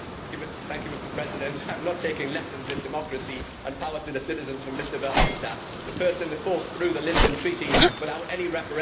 Mr President, I am not taking lessons in democracy and power to the citizens from Mr Verhofstadt, the person who forced through the Lisbon Treaty without any referendum.